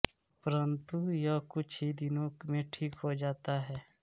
परन्तु यह कुछ ही दिनों में ठीक हो जाता है